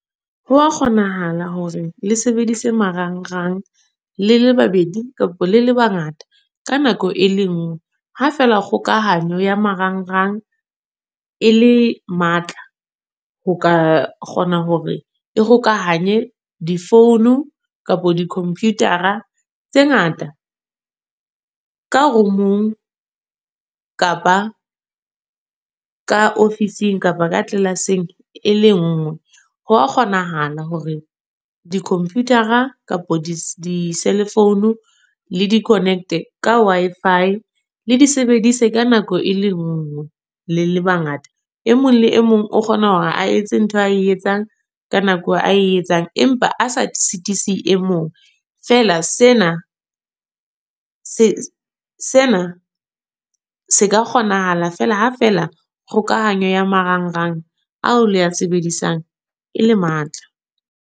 Ho wa kgonahala hore le sebedise marangrang, le le babedi kapa le le bangata, ka nako e le nngwe. Ha feela kgokahanyo ya marangrang, e le matla ho ka kgona hore e kgokahanye di-phone, kapa di-computer-a tse ngata ka room-ong, kapa ka ofising, kapa ka tlelaseng e le nngwe. Ho a kgonahala hore di-computer-a, kapa di-cell phone le di-connect-e ka Wi-Fi. Le di sebedise ka nako e le nngwe, le le bangata. E mong le e mong o kgona hore a etse ntho a e etsang, ka nako a e etsang. Empa a se sitise e mong. Feela sena, se sena se ka kgonahala fela ha fela kgokahanyo ya marangrang ao le ya sebedisang e le matla.